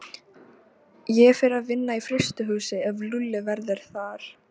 Ég fer að vinna í frystihúsi ef Lúlli verður þar.